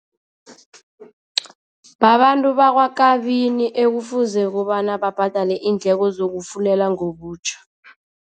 Babantu bakwaKabini ekufuze kobana babhadale iindleko zokufulela ngobutjha.